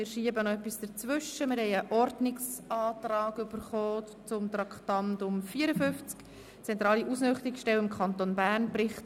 Wir schieben einen Ordnungsantrag zum Traktandum 45, dem Bericht des Regierungsrats zur zentralen Ausnüchterungsstelle im Kanton Bern, ein.